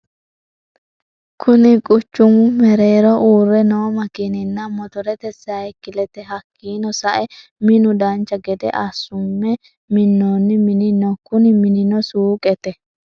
Kunni quchumu mereerro uure noo makiinanna motorete sayiikileti hakiino sa'eena minu dancha gede assume minoonni mini no kunni mininno suuqete.